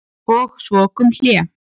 Og svo kom hlé.